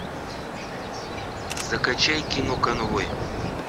закачай кино конвой